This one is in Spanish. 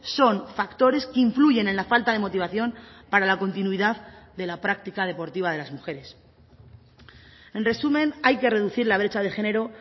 son factores que influyen en la falta de motivación para la continuidad de la práctica deportiva de las mujeres en resumen hay que reducir la brecha de género